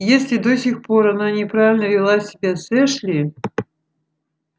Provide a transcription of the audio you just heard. если до сих пор она неправильно вела себя с эшли